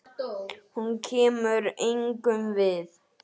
Hún kemur engum við.